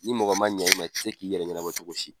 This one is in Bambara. Ni mɔgɔ man ɲɛ i ma i tɛ se k'i yɛrɛ ɲɛnabɔ cogo si.